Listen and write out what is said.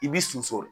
I b'i susu